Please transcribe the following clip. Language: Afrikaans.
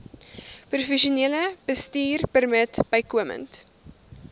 professionele bestuurpermit bykomend